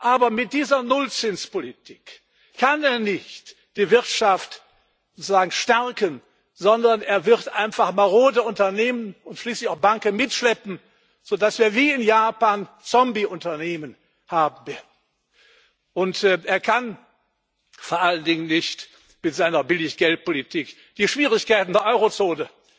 Aber mit dieser Nullzinspolitik kann er nicht die Wirtschaft sozusagen stärken, sondern er wird einfach marode Unternehmen und schließlich auch Banken mitschleppen, so dass wir wie in Japan Zombieunternehmen haben werden. Er kann vor allen Dingen nicht mit seiner Billiggeldpolitik die Schwierigkeiten der Eurozone